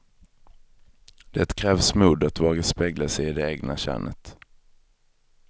Det krävs mod att våga spegla sig i det egna könet.